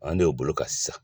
An de y'o bolo kan sisan